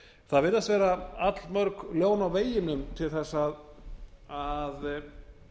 það virðast vera allmörg ljón á veginum til þess að